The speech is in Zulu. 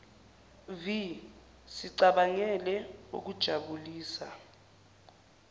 vi sicabangele okujabulisa